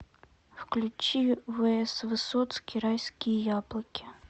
включи вс высоцкий райские яблоки